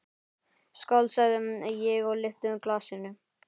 Skál, sagði ég og lyfti glasinu.